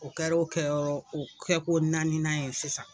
O kɛr'o kɛyɔrɔ o kɛko naaninan ye sisan.